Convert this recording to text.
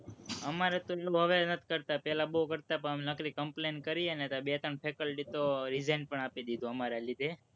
અમારે તો હવે નથી કરતા, પહેલા બોવ કરતા પણ અમે નકરી complaint કરીએ ને તો બે ત્રણ faculty તો resign પણ આપી દીધું, અમારા લીધે.